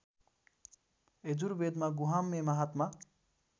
यजुर्वेदमा गुहाम्य महात्मा